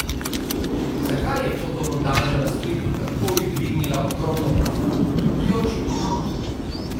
Zakaj je fotomontaža na spletu takoj dvignila ogromno prahu, je očitno.